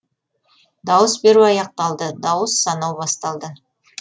дауыс беру аяқталды дауыс санау басталды